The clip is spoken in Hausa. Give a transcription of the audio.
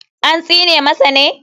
An tsine masa ne?